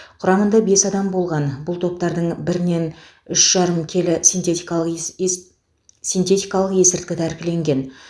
құрамында бес адам болған бұл топтардың бірінен үш жарым келі синтетикалық ес ес синтетикалық есірткі тәркіленген